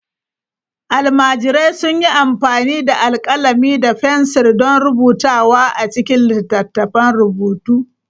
Almajirai sun yi amfani da alƙalami da fensir don rubutawa a cikin littattafan rubutu.